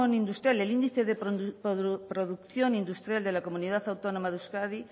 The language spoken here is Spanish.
industrial el índice de producción industrial de la comunidad autónoma de euskadi